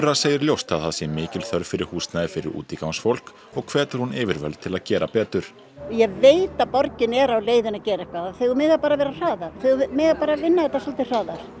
segir ljóst að það sé mikil þörf fyrir húsnæði fyrir útigangsfólk og hvetur hún yfirvöld til að gera betur ég veit að borgin er á leiðinni að gera eitthvað þau mega bara vera hraðari þau mega bara vinna þetta svolítið hraðar